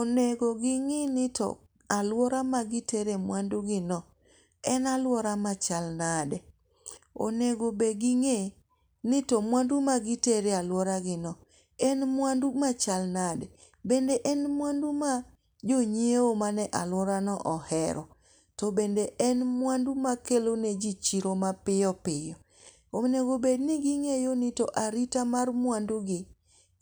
Onego ging'ini to aluora ma gitere mwandu gi no en aluora ma chal nade. Onego be ging'e ni to mwandu ma gitere e aluora gino en mwandu machal nade. Bende en mwandu ma jonyiewo mane aluora no ohero. To bende en mwandu makelo ne ji chiro mapiyo piyo. Onego bed ni ging'eyo ni to arita mar mwandu gi